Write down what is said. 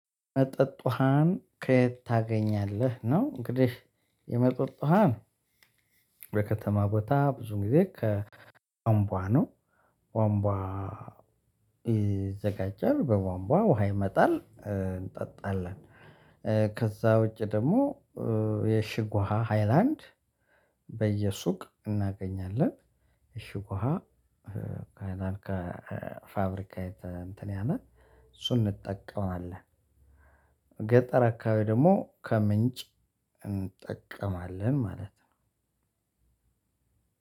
መጠጥ ውሃን ከየት ታገኛለህ? ነው እንግዲህ የመጠጥ ውሃን በከተማ ቦታ ብዙ ጊዜ ከቧንቧ ነው። ቧንቧ ይዘጋጃል በቧንቧ ውሃ ይመጣል እ እንጠጣለን። እ ከዛ ውጪ ደግሞ የሽግ ውሃ ሃይላንድ በየሱቅ እናገኛለን። እሽግ ውሃ ከፋብሪካ እሱን እንጠቀማለን። ገጠር አከባቢ ደግሞ ከምንጭ እንጠቀማለን።